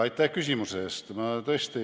Aitäh küsimuse eest!